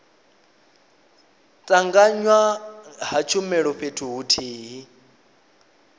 tanganywa ha tshumelo fhethu huthihi